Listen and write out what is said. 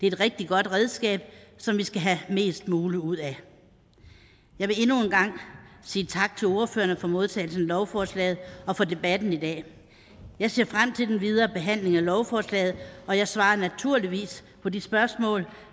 et rigtig godt redskab som vi skal have mest muligt ud af jeg vil endnu en gang sige tak til ordførerne for modtagelsen af lovforslaget og for debatten i dag jeg ser frem til den videre behandling af lovforslaget og jeg svarer naturligvis på de spørgsmål